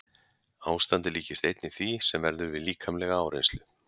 Ástandið líkist einnig því sem verður við líkamlega áreynslu.